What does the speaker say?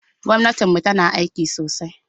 Gwamnatinmu tana aiki sosai.